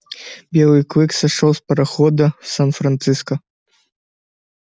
белый клык сошёл с парохода в сан-франциско